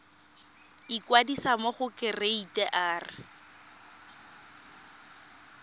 ikwadisa mo go kereite r